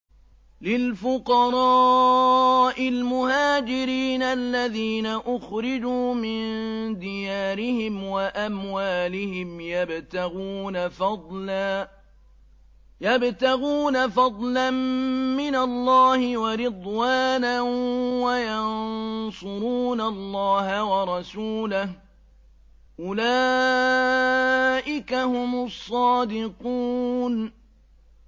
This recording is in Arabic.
لِلْفُقَرَاءِ الْمُهَاجِرِينَ الَّذِينَ أُخْرِجُوا مِن دِيَارِهِمْ وَأَمْوَالِهِمْ يَبْتَغُونَ فَضْلًا مِّنَ اللَّهِ وَرِضْوَانًا وَيَنصُرُونَ اللَّهَ وَرَسُولَهُ ۚ أُولَٰئِكَ هُمُ الصَّادِقُونَ